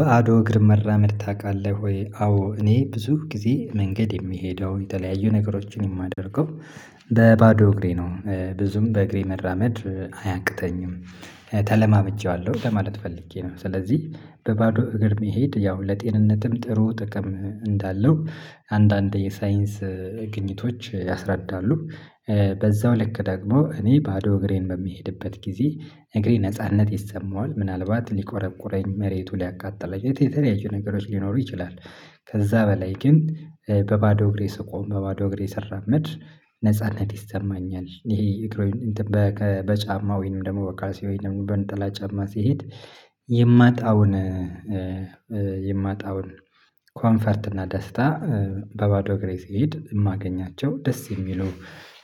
ባዶ እግር መራመድ ታውቃለህ ወይ? አዎ እኔ ብዙ ጊዜ መንገድ የምሄደው የተለያዩ ነገሮችን የማደርገው በባዶ እግሬ ነው ብዙም በእግሬ መራመድ አያቅተኝም ተለማምጄዋለሁ ለማለት ፈልጌ ነው። ስለዚህ በባዶ እግር መሄድ ያው ለጤንነትም ጥሩ ጥቅም እንዳለው አንዳንድ የሳይንስ ግኝቶች ያስረዳሉ። በዛው ልክ ደግሞ እኔ ባዶ እግሬን በምሄድበት ጊዜ እግሬ ነጻነት ይሰማዋል ምናልባት ሊቆረቁረኝ መሬቱ ሊያቃጥለኝ የተ የተለያየ ነገሮች ሊኖሩ ይችላል። ከዛ በላይ ግን በባዶ እግሬ ስቆም በባዶ እግሬ ስራመድ ነጻነት ይሰማኛል። ይሄ እግረኞ እንትን በከ በጫማ ወይንም ደግሞ በካልሲ ወይንም በነጠላ ጫማ ስሄድ የማጣውን የማጣውን ኮምፎርት እና ደስታ። በባዶ እግሬ ስሄድ የማገኛቸው ደስ የሚሉ